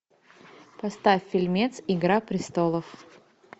поставь фильмец игра престолов